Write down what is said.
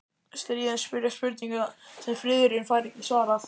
Stríðin spyrja spurninga sem friðurinn fær ekki svarað.